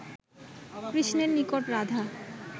কৃষ্ণের নিকট রাধা